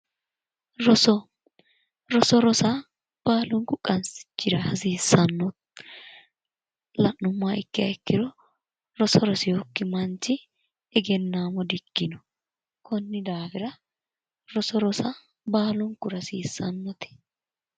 roso roso rosa baalunku qansichira hasiissanno la'nummoha ikkiro roso rosinokki manchi egennaamo dikkanno konni daafira roso rosa baalunkura hasiissannote